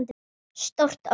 Stórt orð.